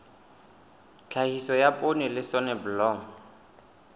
tlhahiso ya poone le soneblomo